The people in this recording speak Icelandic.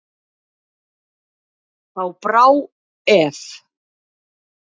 Þá brá ef.